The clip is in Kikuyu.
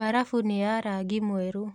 Mbarabu nĩ ya rangi mwerũ.